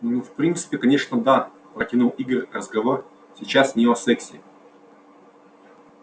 ну в принципе конечно да протянул игорь разговор сейчас не о сексе